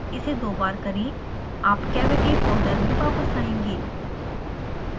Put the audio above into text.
इसे दो बार करें आप cavity फोल्डर में वापस आएंगे